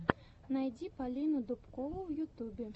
найди полину дубкову в ютубе